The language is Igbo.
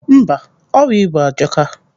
Mba, ọrịa ibu ajọka.